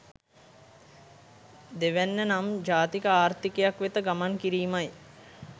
දෙවැන්න නම් ජාතික ආර්ථිකයක් වෙත ගමන් කිරීමයි.